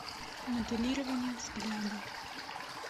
моделирование взгляда